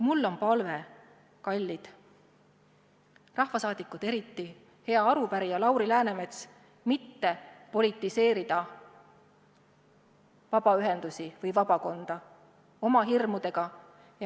Mul on teile palve, kallid rahvasaadikud, ja eriti teile, hea arupärija Lauri Läänemets, mitte politiseerida vabaühendusi või vabakonda oma hirmudega.